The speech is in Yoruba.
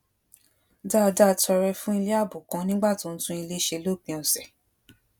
dáadáa tọrẹ fún ilé ààbò kan nígbà tó ń tún ilé ṣe lópin òsè